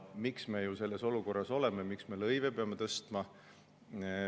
Miks me selles olukorras oleme, et me peame lõive tõstma?